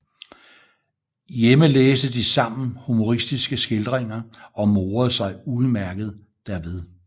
Hjemme læste de sammen humoristiske skildringer og morede sig udmærket derved